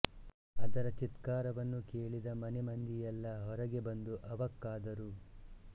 ಅದರ ಚೀತ್ಕಾರವನ್ನು ಕೇಳಿದ ಮನೆ ಮಂದಿಯಲ್ಲ ಹೊರಗೆ ಬಂದು ಅವಕ್ಕಾದರು